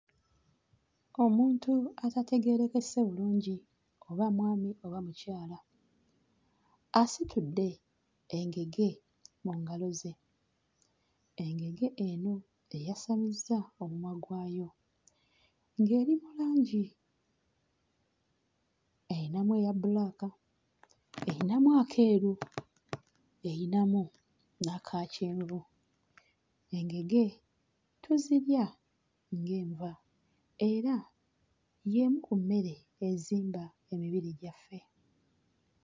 Omuntu atategeerekese bulungi oba mwami oba mukyala asitudde engege mu ngalo ze. Engege eno eyasamizza omumwa gwayo ng'eri mu langi eyinamu eya bbulaaka, eyinamu akeeru, erinamu n'aka kyenvu. Engege tuzirya ng'enva era y'emu ku mmere ezimba emibiri gyaffe.